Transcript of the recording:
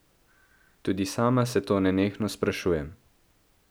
Tudi sama se to nenehno sprašujem.